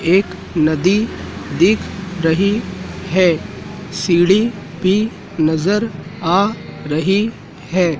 एक नदी दिख रही है सीढ़ी भी नज़र आ रही है।